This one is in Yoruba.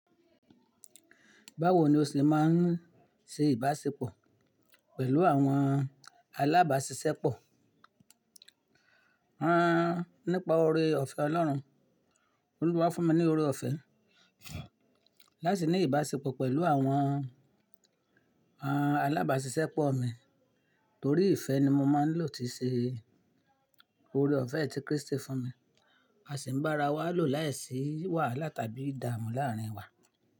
Báwo ni o ṣe máa ń ṣe ìbáṣepọ̀ pẹ̀lú àwọn alábàáṣiṣẹ́ pọ̀? Rán nípa ore ọ̀fẹ́ Ọlọ́run. Olúwa fún mi ní ore ọ̀fẹ́ láti ní ìbáṣepọ̀ pẹ̀lú àwọn, àwọn alábàáṣiṣẹ́ pọ̀ mi. Torí ìfẹ́ ni mo máa ń lò ti ṣe ore ọ̀fẹ́ tí Kristi fún mi. A sì ń bá ara wa lò láìsí wàhálà tàbí ìdààmú láàárín wa.